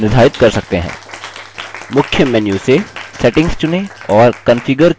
मुख्य menu से settings चुनें और configure ktouch पर click करें